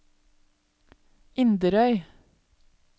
Inderøy